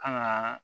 Kan ga